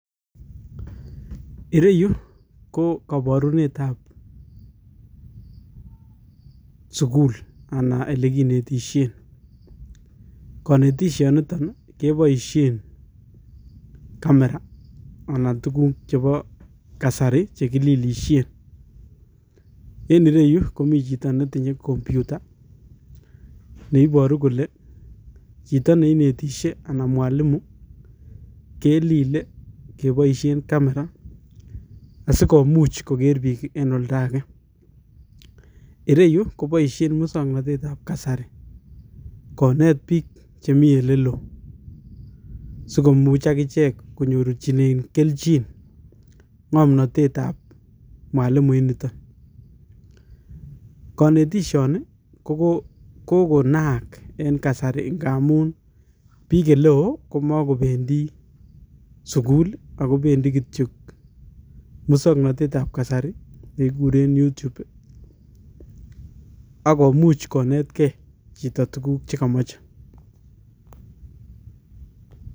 Ireyu ko kaborunetab sukul anan elikinetishe. Konetishanitok keboisie camera anan tuguk chebo kasari chekililishen. Enire yu komi chito netinye computer neiboru kole chito neinetishe anan mwalimu kelile keboisie camera asigomuch koger biik eng' olda age. Ireyu koboisie musong'nateteab kasari konet biik chemi elelo sigomuch agichek konyorchinen kelchin ng'omnotetab mwalimu initok. Kanetishoni kogo kogonaak eng' kasari engamun biik eleo komagobendi sukul agobendi kityo musong'notetab kasari keguren Youtube agomuch konetkei chito tuguk chegamache.